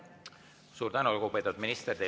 Suur tänu, lugupeetud minister!